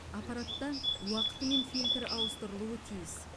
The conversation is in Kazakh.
аппаратта уақытымен фильтр ауыстырылуы тиіс